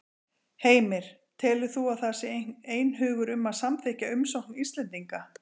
Heimir: Telur þú að það sé einhugur um að samþykkja umsókn Íslendinga?